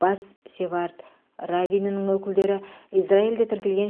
бас севард раввинінің өкілдері израильде тіркелген